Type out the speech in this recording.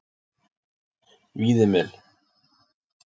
Víðimel